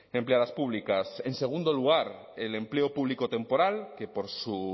empleadas públicas en segundo lugar el empleo público temporal que por su